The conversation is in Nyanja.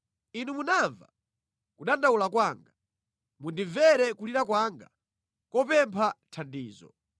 Inu munamva kudandaula kwanga. “Mundimvere kulira kwanga kopempha thandizo.”